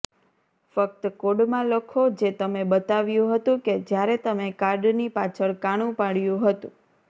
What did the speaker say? ફક્ત કોડમાં લખો જે તમે બતાવ્યું હતું કે જ્યારે તમે કાર્ડની પાછળ કાણું પાડ્યું હતું